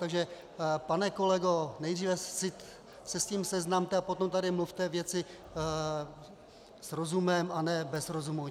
Takže pane kolego, nejdříve se s tím seznamte, a potom tady mluvte věci s rozumem, a ne bez rozumu.